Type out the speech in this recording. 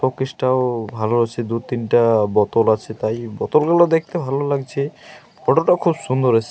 শোপিসটা -ও ভালো আছে। দু-তিনটা বোতল আছে। তাই বোতলগুলো দেখতেও ভালো লাগছে। ফটো -টাও খুব সুন্দর এস --